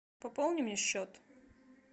пополни мне счет